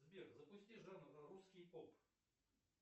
сбер запусти жанр русский поп